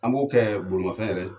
An b'o kɛ bolimafɛn yɛrɛ